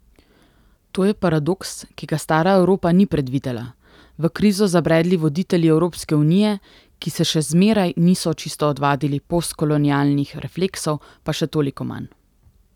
To je paradoks, ki ga stara Evropa ni predvidela, v krizo zabredli voditelji Evropske unije, ki se še zmeraj niso čisto odvadili postkolonialnih refleksov, pa še toliko manj.